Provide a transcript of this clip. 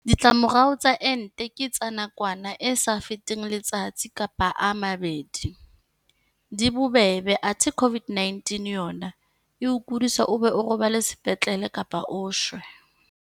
Ditlamorao tsa ente ke tsa nakwana e sa feteng letsatsi kapa a mabedi, di bobebe athe COVID-19 yona e o kodisa o be o robale sepetlele kapa o shwe.